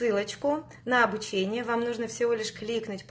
ссылочку на обучение вам нужно всего лишь кликнуть